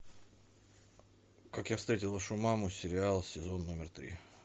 как я встретил вашу маму сериал сезон номер три